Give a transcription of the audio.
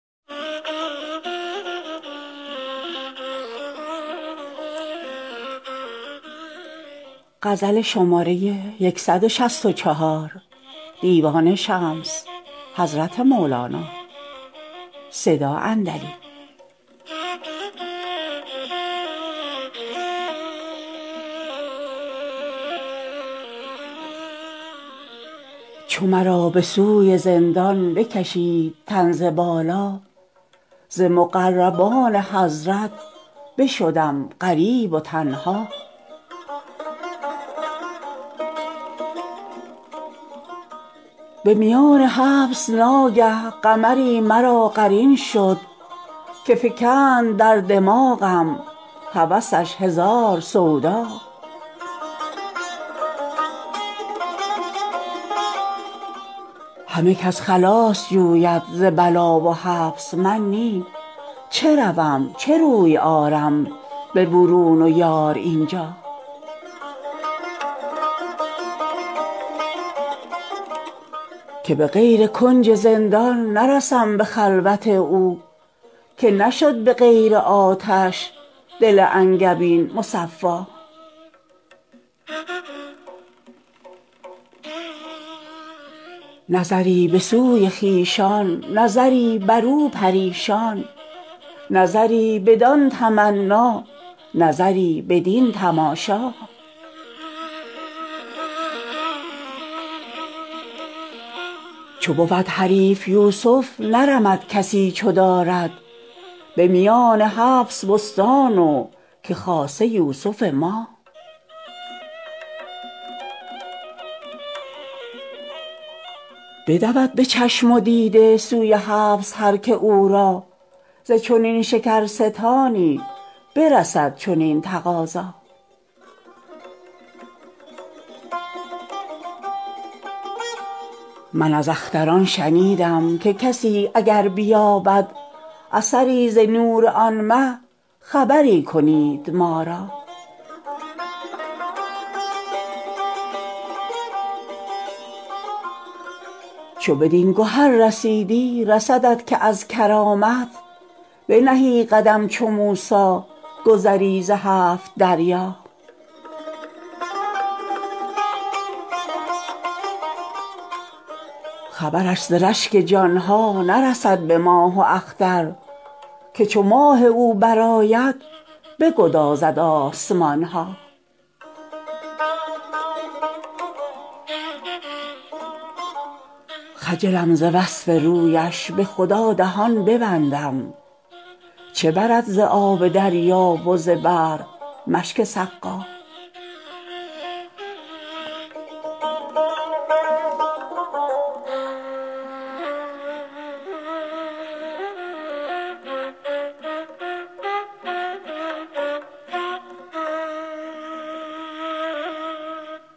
چو مرا به سوی زندان بکشید تن ز بالا ز مقربان حضرت بشدم غریب و تنها به میان حبس ناگه قمری مرا قرین شد که فکند در دماغم هوسش هزار سودا همه کس خلاص جوید ز بلا و حبس من نی چه روم چه روی آرم به برون و یار این جا که به غیر کنج زندان نرسم به خلوت او که نشد به غیر آتش دل انگبین مصفا نظری به سوی خویشان نظری برو پریشان نظری بدان تمنا نظری بدین تماشا چو بود حریف یوسف نرمد کسی چو دارد به میان حبس بستان و که خاصه یوسف ما بدود به چشم و دیده سوی حبس هر کی او را ز چنین شکرستانی برسد چنین تقاضا من از اختران شنیدم که کسی اگر بیابد اثری ز نور آن مه خبری کنید ما را چو بدین گهر رسیدی رسدت که از کرامت بنهی قدم چو موسی گذری ز هفت دریا خبرش ز رشک جان ها نرسد به ماه و اختر که چو ماه او برآید بگدازد آسمان ها خجلم ز وصف رویش به خدا دهان ببندم چه برد ز آب دریا و ز بحر مشک سقا